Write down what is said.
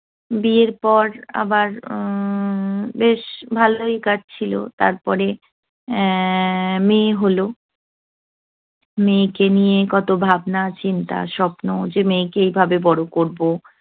বিয়ের পর আবার উহ আবার বেশ ভালই কাটছিল। তারপরে আহ মেয়ে হল। মেয়েকে নিয়ে কত ভাবনা-চিন্তা, স্বপ্ন- যে মেয়েকে এভাবে বড় করবো।